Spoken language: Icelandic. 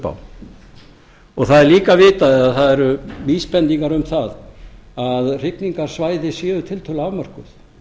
á það er líka vitað eða það eru vísbendingar um það að hrygningarsvæði séu tiltölulega afmörkuð